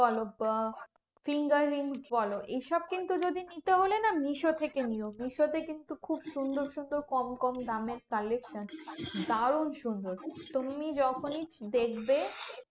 বলো, আহ finger rings বলো, এইসব কিন্তু যদি নিতে হলে না মিশো থেকে নিও। মিশোতে কিন্তু খুব সুন্দর সুন্দর কম কম দামের collection দারুন সুন্দর। তুমি যখনই দেখবে